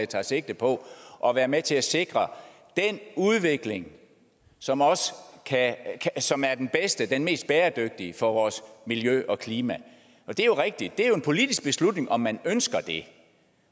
tager sigte på at være med til at sikre den udvikling som som er den bedste og den mest bæredygtige for vores miljø og klima og det er jo rigtigt at det er en politisk beslutning om man ønsker det